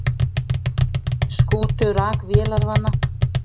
Skútu rak vélarvana